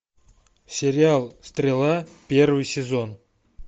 сериал стрела первый сезон